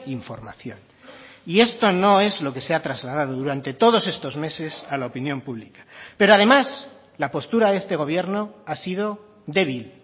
información y esto no es lo que se ha trasladado durante todos estos meses a la opinión pública pero además la postura de este gobierno ha sido débil